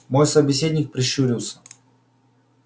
мой собеседник прищурился